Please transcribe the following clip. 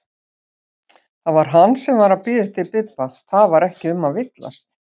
Það var hann sem var að bíða eftir Bibba, það var ekki um að villast!